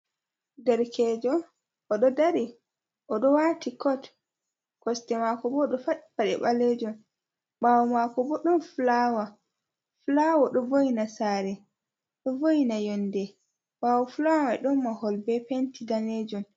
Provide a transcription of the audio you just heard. Darkejo oɗo dari oɗo wati kot, kosɗe mako bo oɗo fadi paɗe ɓalejun ɓawo mako bo ɗon fulawa, fulawa ɗo voina sare, ɗo vo’ina yonde, ɓawo fulamai ɗon mahol be penti danejum.